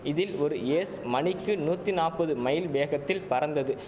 இதில் ஒரு ஏஸ் மணிக்கு நூத்தி நாப்பது மைல் வேகத்தில் பறந்தது